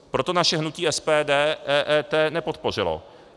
Proto naše hnutí SPD EET nepodpořilo.